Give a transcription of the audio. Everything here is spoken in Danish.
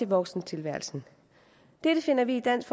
voksentilværelsen dette finder vi i dansk